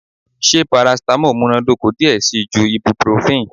Ṣe paracetamol munadoko diẹ sii ju ibuprofen?